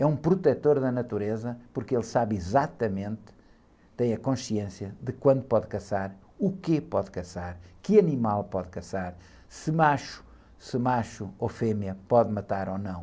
É um protetor da natureza porque ele sabe exatamente, tem a consciência de quando pode caçar, o que pode caçar, que animal pode caçar, se macho, se macho ou fêmea pode matar ou não.